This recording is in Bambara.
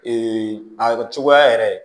a cogoya yɛrɛ